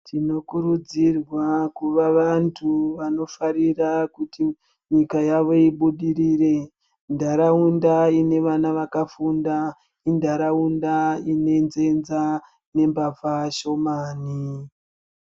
Tinokurudzirwa kuva vantu vanofarira kuti nyika yavo ibudirire. Ntaraunda ine vana vakafunda, intaraunda ine nzenza nembavha shomani.